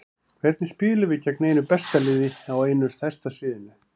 Hvernig spilum við gegn einu besta liðinu á einu stærsta sviðinu?